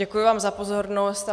Děkuji vám za pozornost.